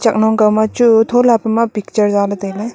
chak nok kaw ma chu thola pema picture zale tailey.